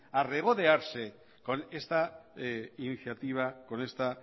a regodearse con esta iniciativa con esta